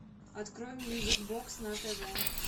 открой мьюзик бокс на тв